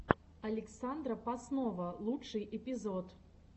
александра поснова лучший эпизод